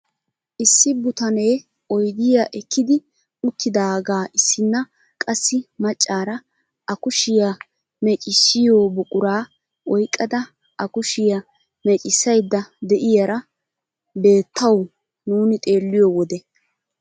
Issi butanee oydiyaa ekkidi uttidagaa issina qassi maccaara a kushshiyaa meeccisiyoo buquraa oyqqada a kushshiyaa meeccisayda de'iyaara beettawu nuuni xeelliyoo wode.